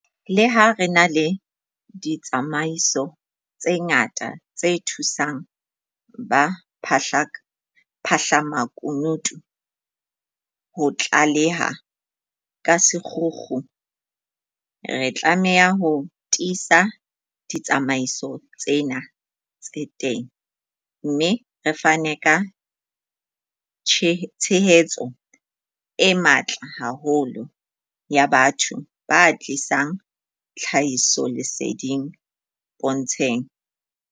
Leha re na le ditsamaiso tse ngata tse thusang ba phahlamakunutu ho tlaleha ka sekgukgu, re tlameha ho tiisa ditsamaiso tsena tse teng, mme re fane ka tshehetso e matla haholo ya batho ba tlisang tlhahisoleseding pontsheng.